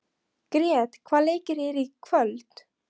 Grét, hvaða leikir eru í kvöld?